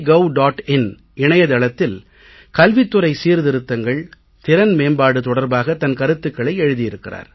in இணைய தளத்தில் கல்வித் துறை சீர்திருத்தங்கள் திறன் மேம்பாடு தொடர்பாக தன் கருத்துக்களை எழுதி இருக்கிறார்